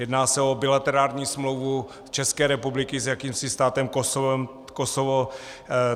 Jedná se o bilaterální smlouvu České republiky s jakýmsi státem Kosovo.